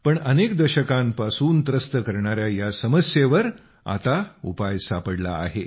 पण अनेक दशकांपासून त्रस्त करणाऱ्या या समस्येवर आता उपाय सापडला आहे